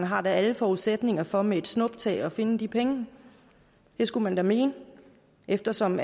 har alle forudsætninger for med et snuptag at finde de penge det skulle man da mene eftersom